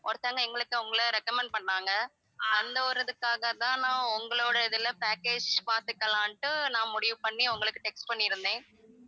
ஒருத்தவங்க எங்களுக்கு உங்கள recommend பண்ணாங்க அந்த ஒரு இதுக்காக தான் நான் உங்களோட இதுல package பார்த்துக்கலாம்னிட்டு நான் முடிவு பண்ணி உங்களுக்கு text பண்ணியிருந்தேன்